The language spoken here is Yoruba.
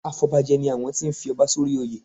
Afọbajẹ ni àwọn tí ń fi ọba sórí oyè.